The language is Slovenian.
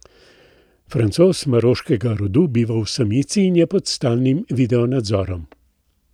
Francoz maroškega rodu biva v samici in je pod stalnim video nadzorom.